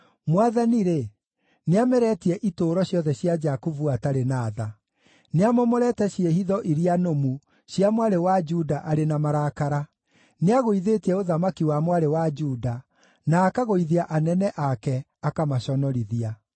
Mwathani-rĩ, nĩameretie itũũro ciothe cia Jakubu atarĩ na tha; nĩamomorete ciĩhitho iria nũmu cia Mwarĩ wa Juda arĩ na marakara. Nĩagũithĩtie ũthamaki wa Mwarĩ wa Juda, na akagũithia anene ake, akamaconorithia.